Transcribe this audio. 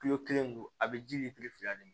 Kilo kelen dun a bi ji fila de